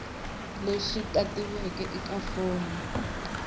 lexi tatiweke eka fomo ya